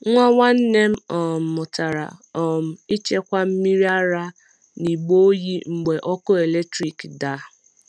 Nwa nwanne m um mụtara um ịchekwa mmiri ara n’igbe oyi mgbe ọkụ eletrik daa.